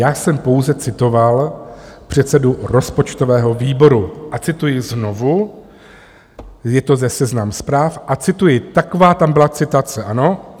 Já jsem pouze citoval předsedu rozpočtového výboru a cituji znovu, je to ze Seznam Zpráv a cituji, taková tam byla citace, ano?